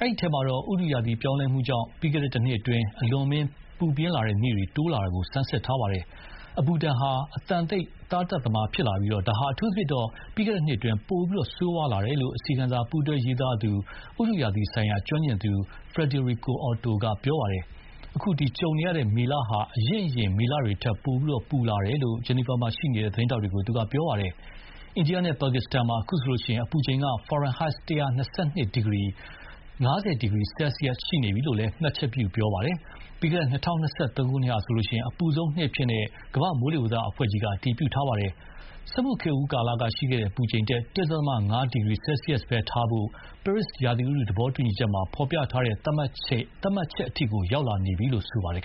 ဒီထဲမှာတော့ ဥတုရာသီပြောင်းလဲမှုကြောင့် ပြီးခဲ့တဲ့ တနှစ်အတွင်း အလွန်အမင်း ပူပြင်းတဲ့နေ့တွေတိုးလာလာတာကို ဆန်းစစ်ထားပါတယ်။ အပူဒဏ်ဟာ အသံတိတ် သားသတ်သမားဖြစ်ပြီး ဒါဟာ အထူးသဖြင့် ပြီးခဲ့တဲ့နှစ်အတွင်း ပိုဆိုးဝါးလာတယ်လို့ အစီရင်ခံစာပူးတွဲရေးသားသူ ဥတုရာသီဆိုင်ရာကျွမ်းကျင်သူ Friederike Otto က ပြောပါတယ်။ အခု ကြုံရတဲ့ မေလဟာ အရင့်အရင် မေလတွေထက် ပိုပြီး ပူလာတယ်လို့လည်း Geneva မှာရှိနေတဲ့ သတင်းထောက်တွေကို သူက ပြောပါတယ်။ အိန္ဒိယနဲ့ပါကစ္စတန်မှာ အခုဆိုရင် အပူချိန် ဖာရင်ဟိုက် ၁၂၂ ဒီဂရီ ( ၅၀ ဒီဂရီ ဆဲဆီယက်စ်) ရှိနေပြီလို့လည်း မှတ်ချက်ပြုပြောသွားပါတယ်။ ပြီးခဲ့တဲ့ ၂၀၂၃ ခုနှစ်ဟာဆိုရင် အပူဆုံးနှစ်အဖြစ် ကမ္ဘာ့မိုးလေဝသအဖွဲ့ကြီးက အတည်ပြုထားပါတယ်။ စက်မှုခေတ်ဦးကာလကရှိတဲ့ အပူချိန်ထက် ၁.၅ ဒီဂရီဆဲဆီးယပ်စ်ပဲထားဖို့ ပဲရစ်ရာသီဥတုသဘောတူညီချက်မှာ ဖော်ပြထားတဲ့ သတ်မှတ်ချက်အထိကို ရောက်လာပြီလို့ ဆိုပါတယ်